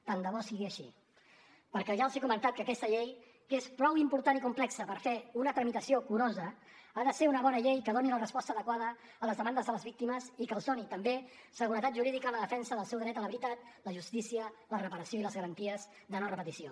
tant de bo sigui així perquè ja els he comentat que aquesta llei que és prou important i complexa per fer una tramitació curosa ha de ser una bona llei que doni la resposta adequada a les demandes de les víctimes i que els doni també seguretat jurídica en la defensa del seu dret a la veritat la justícia la reparació i les garanties de no repetició